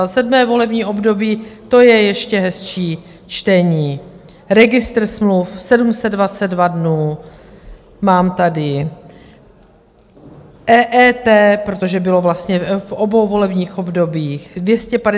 A 7. volební období, to je ještě hezčí čtení: Registr smluv 722 dnů, mám tady EET, protože bylo vlastně v obou volebních obdobích, 251 dnů a tak dále.